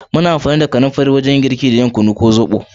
Muna amfani da kanimfari wajen girki da yin kunu ko zoɓo.